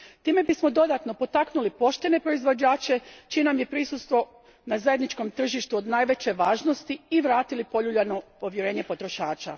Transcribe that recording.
Time bismo dodatno potaknuli poštene proizvođače čije nam je prisustvo na zajedničkom tržištu od najveće važnosti i vratili poljuljano povjerenje potrošača.